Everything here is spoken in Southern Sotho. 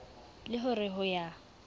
le ho re ho ya